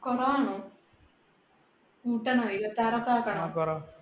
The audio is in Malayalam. കുറവാണോ? കൂട്ടണോ, ഇരുപത്തിആറ് അപ്പ ആക്കണോ.